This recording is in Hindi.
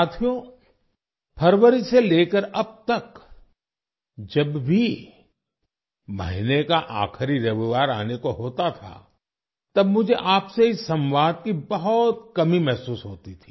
साथियो फरवरी से लेकर अब तक जब भी महीने का आखिरी रविवार आने को होता था तब मुझे आपसे इस संवाद की बहुत कमी महसूस होती थी